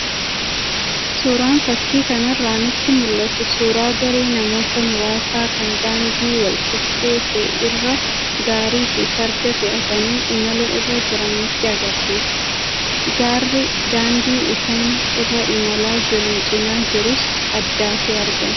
Suuraan fakii kanarraa nutti mul'atu suuraa garee namoota muraasaa kan daandii walqixxee ta'e irra gaarii fi farda fe'atanii imala irra jiranii nutti agarsiisa. Gaarri daandii isaan irra imalaa jiran cinaa jirus addaate argama.